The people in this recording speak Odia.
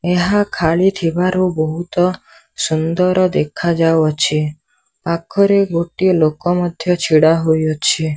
ଏହା ଖାଲି ଥିବାରୁ ବହୁତ ସୁନ୍ଦର ଦେଖା ଯାଉ ଅଛି ପାଖରେ ଗୋଟେ ଲୋକ ମଧ୍ୟ ଛିଡ଼ା ହୋଇଅଛି।